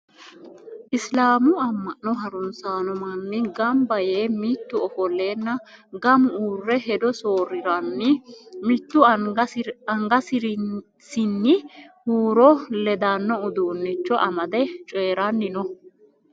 Isilaamu amma'no harunsanno manni gamba yee mitu ofolleenna gamu uurre hedo soorriranni mittu angarisinni huuro ledanno uduunnicho amade cooyranni no.